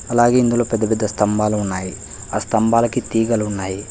అలాగే ఇందులో పెద్ద పెద్ద స్తంభాలు ఉన్నాయి ఆ స్తంభాలకి తీగలు ఉన్నాయి.